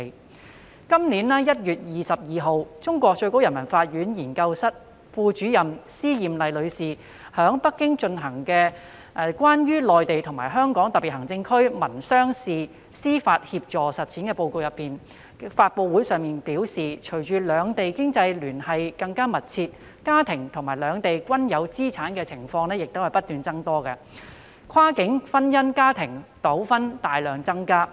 在今年1月22日，內地最高人民法院研究室副主任司艷麗女士於在北京舉行的《關於內地與香港特別行政區民商事司法協助實踐的報告》發布會上表示，隨着兩地經濟聯繫更密切，市民在兩地均有資產的情況不斷增多，跨境婚姻家庭糾紛大量增加。